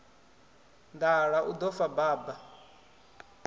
nḓala u ḓo fa baba